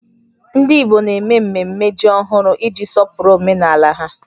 Ndị Igbo na-eme mmemme ji ọhụrụ iji sọpụrụ omenala ha